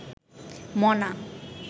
মনা